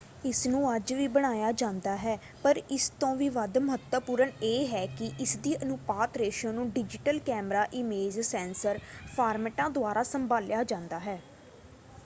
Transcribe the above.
ਇਸਨੂੰ ਅੱਜ ਵੀ ਬਣਾਇਆ ਜਾਂਦਾ ਹੈ ਪਰ ਇਸ ਤੋਂ ਵੀ ਵੱਧ ਮਹੱਤਵਪੂਰਨ ਇਹ ਹੈ ਕਿ ਇਸਦੀ ਅਨੁਪਾਤ ਰੇਸ਼ੋ ਨੂੰ ਡਿਜੀਟਲ ਕੈਮਰਾ ਇਮੇਜ ਸੈਂਸਰ ਫਾਰਮੈਟਾਂ ਦੁਆਰਾ ਸੰਭਾਲਿਆ ਜਾਂਦਾ ਹੈ।